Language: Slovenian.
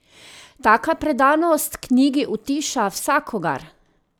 Taka predanost knjigi utiša vsakogar!